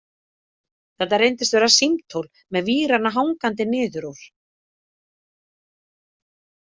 Þetta reyndist vera símtól, með vírana hangandi niður úr.